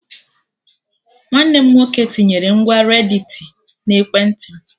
Nwanne m nwoke tinyere ngwa redditi na ekwentị m